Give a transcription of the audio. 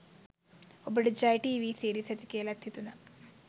ඔබට Jaya TV series ඇති කියලත් හිතුන